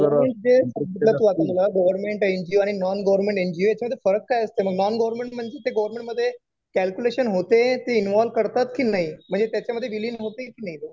आणि हे गव्हर्मेंटचं कुठलं तु वाचलं का गव्हर्मेंट एनजीओ आणि नॉन गव्हर्मेंट एनजीओ याच्यामध्ये फरक काय असतो मग? नॉन गव्हर्मेंट म्हणजे ते गव्हर्मेंट मध्ये कॅल्क्युलेशन होते. ते इन्व्हॉल्व करतात कि नाही? म्हणजे त्याच्यामध्ये विलीन होती कि नाही?